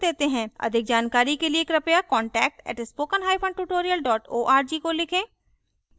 अधिक जानकारी के लिए कृपया contact at spoken hyphen tutorial dot org को लिखें